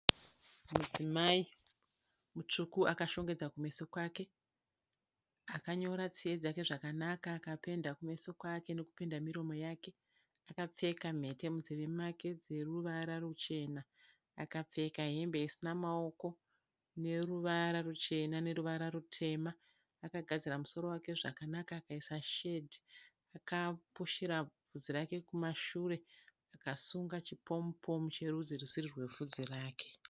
Mudzimai mutsvuku akashongedza kumeso kwake akanyora tsiye dzake zvakanaka akapenda kumeso kwake nokupenda miromo yake akapfeka mhete munzeve make dzeruvara ruchena akapfeka hembe isina maoko neruvara ruchena neruvara rutema akagadzira musoro wake zvakanaka akaisa shedhi akapushira bvudzi rake kumashure akasunga chipomupomu cherudzi rusiri rwebvudzi rake.